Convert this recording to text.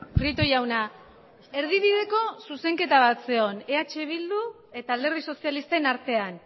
prieto jauna erdibideko zuzenketa bat zegoen eh bildu eta alderdi sozialistaren artean